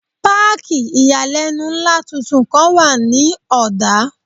Páàkì ìyàlẹ́nu ńlá tuntun kan wà ní Ọ̀dá.